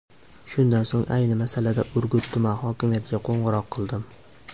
Shundan so‘ng ayni masalada Urgut tuman hokimiyatiga qo‘ng‘iroq qildim.